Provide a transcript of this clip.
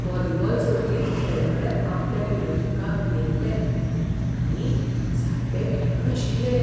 Volleyball सर्तींत खेळगडे आपल्या विरोधकांक भियेल्ले आनी सारके खेळनाशिल्ले.